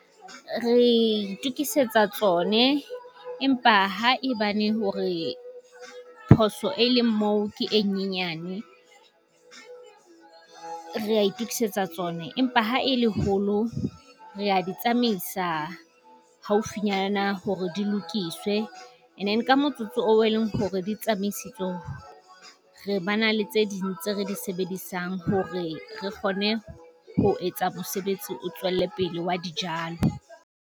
Re itokisetsa tsone empa ha e bane hore phoso e leng moo ke e nyenyane, re a itokisetsa tsona empa ha e leholo re a di tsamaisa haufinyana mme hore di lokiswe. engine ka motsotso oo e leng hore di tsamaisitswe ho re ba na le tse ding tse re di sebedisang hore re kgone ho etsa mosebetsi o tswelle pele wa dijalo.